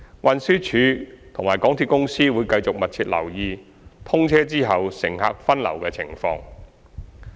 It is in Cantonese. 運輸署及香港鐵路有限公司會繼續密切留意通車後乘客分流的情況。